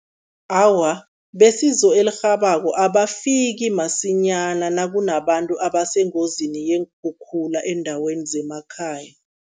Awa, besizo elirhabako abafiki masinyana nakunabantu abasengozini yeenkhukhula eendaweni zemakhaya.